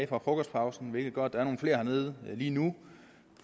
fra frokostpausen hvilket gør at der er nogle flere hernede lige nu